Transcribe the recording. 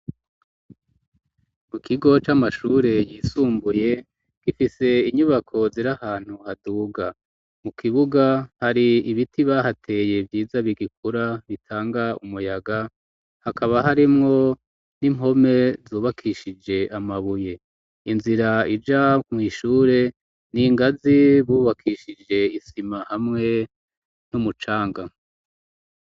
Mu kigo c'amashure yisumbuye gifise inyubako zir'ahantu haduga ,mu kibuga hari ibiti bahateye vyiza bigikura bitanga umuyaga, hakaba harimwo n'impome zubakishije amabuye, inzira ija mw'ishure n'ingazi bubakishije isima hamwe n'umucanga.